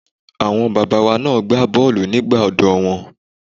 Àwọn bàbá wa na gbá bọ́ọ̀lù nígbà ọ̀dọ́ wọn.